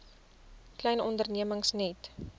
klein ondernemings net